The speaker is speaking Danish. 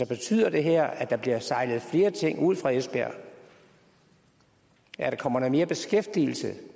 betyder det her at der bliver sejlet flere ting ud fra esbjerg at der kommer mere beskæftigelse